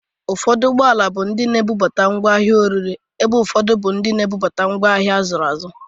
Ufọdụ ụgbọala bụ ndị na-ebubata ngwa ahịa orire, ebe ufọdụ bụ ndị na-ebupu ngwa ahịa ndị azụrụ azụ.